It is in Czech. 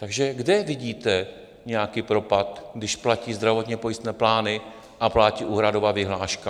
Takže kde vidíte nějaký propad, když platí zdravotně pojistné plány a platí úhradová vyhláška?